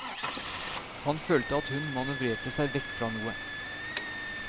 Han følte at hun manøvrerte seg vekk fra noe.